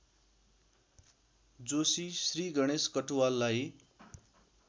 Joshi Shriganesh कटुवाललाई